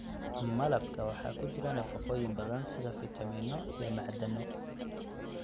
Malabka waxaa ku jira nafaqooyin badan sida fiitamiino iyo macdano.